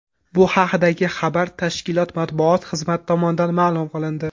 Bu haqdagi xabar tashkilot matbuot xizmati tomonidan ma’lum qilindi .